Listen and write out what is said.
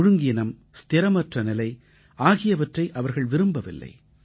ஒழுங்கீனம் ஸ்திரமற்ற நிலை ஆகியவற்றை அவர்கள் விரும்பவில்லை